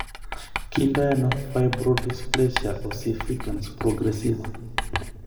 Kiinto ano fibrodysplasia ossificans progressiva?